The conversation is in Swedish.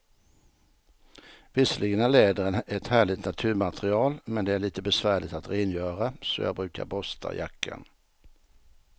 Visserligen är läder ett härligt naturmaterial, men det är lite besvärligt att rengöra, så jag brukar borsta jackan.